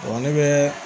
ne bɛ